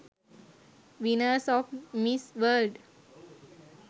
winners of miss world